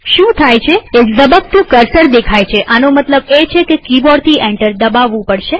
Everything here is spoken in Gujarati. શું થાય છેએક ઝબકતું કર્સર દેખાય છેઆનો મતલબ એ છે કે કિબોર્ડથી એન્ટર દબાવવું પડશે